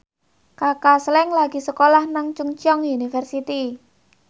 Kaka Slank lagi sekolah nang Chungceong University